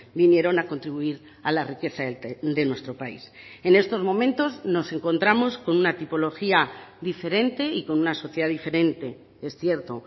vinieron a contribuir a la riqueza de nuestro país en estos momentos nos encontramos con una tipología diferente y con una sociedad diferente es cierto